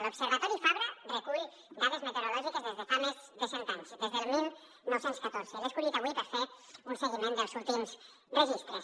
l’observatori fabra recull dades meteorològiques des de fa més de cent anys des del dinou deu quatre i l’he escollit avui per fer un seguiment dels últims registres